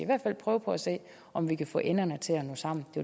hvert fald prøve at se om vi kan få enderne til at nå sammen det